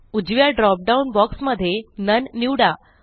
उजव्या drop down box मध्ये none निवडा